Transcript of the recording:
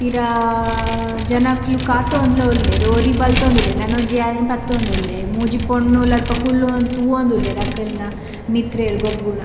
ಪಿರಾ ಜನಕ್ಕ್ಲು ಕಾತೋಂಡುಲ ಉಲ್ಲೇರ್‌ ಒರಿ ಬಲ್ತೋಂದ್‌ ಉಲ್ಲೇರ್‌ ನೆನ ಒಂಜಿ ಐನೆ ಪತ್ತೋಂದು ಉಲ್ಲೆ ಮೂಜಿ ಪೊನ್ನೋಲ್‌ ಅಲ್ಪ ಕುಲ್ಲೋಂದು ತೂವೋಂದುಲ್ಲೆರ್‌ ಅಕ್ಕ್ಲ್‌ನ ಮಿತ್ರೆರ್‌ ಗೊಬ್ಬುನ.